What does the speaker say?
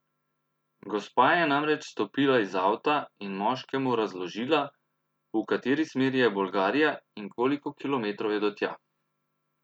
Gospa je namreč stopila iz avta in moškemu razložila, v kateri smeri je Bolgarija in koliko kilometrov je do tja.